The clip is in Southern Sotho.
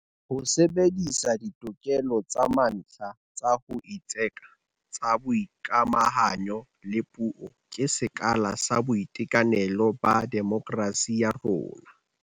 Ho sebedisa ditokelo tsa mantlha tsa ho itseka, tsa boikamahanyo le puo ke sekala sa boitekanelo ba demokerasi ya rona.